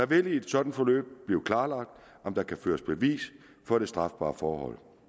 vil i et sådant forløb blive klarlagt om der kan føres bevis for det strafbare forhold